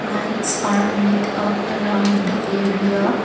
lights are lit up around the area.